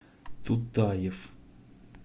тутаев